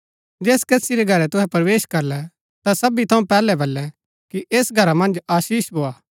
जैस कसी रै घरै तुहै प्रवेश करलै ता सबी थऊँ पैहलै बलै कि ऐस घरा मन्ज आशीष भोआ